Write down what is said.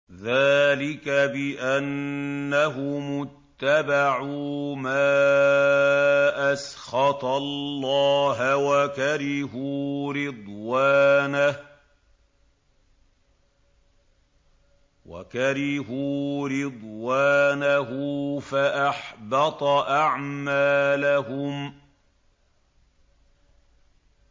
ذَٰلِكَ بِأَنَّهُمُ اتَّبَعُوا مَا أَسْخَطَ اللَّهَ وَكَرِهُوا رِضْوَانَهُ فَأَحْبَطَ أَعْمَالَهُمْ